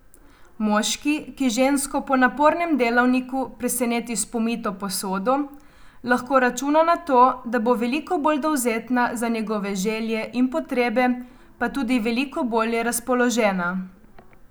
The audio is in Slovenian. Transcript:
Moški, ki žensko po napornem delavniku preseneti s pomito posodo, lahko računa na to, da bo veliko bolj dovzetna za njegove želje in potrebe pa tudi veliko bolje razpoložena.